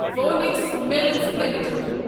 Phoenix mills limited